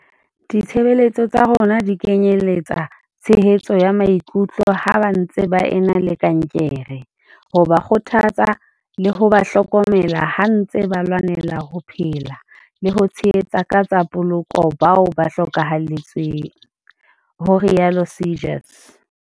"Ditshebeletso tsa rona di kenyeletsa tshehetso ya maikutlo ha ba ntse ba e na le kankere, ho ba kgothatsa, le ho ba hloko mela ha ntswe ba lwanela ho phela le ho tshehetsa ka tsa poloko bao ba hloka halletsweng," ho rialo Seegers.